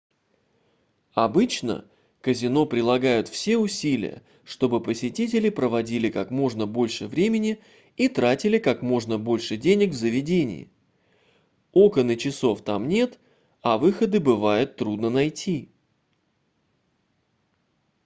обычно казино прилагают все усилия чтобы посетители проводили как можно больше времени и тратили как можно больше денег в заведении окон и часов там нет а выходы бывает трудно найти